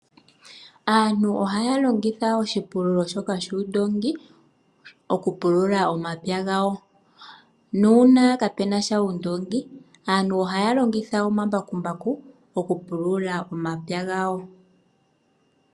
Aantu ohaya longitha oshi pululo shoka shuundongi oku pulula omapya gawo. Nuuna kaapenasha uundongi aantu ohaya longitha omambakumbaku oku pulula omapya gawo.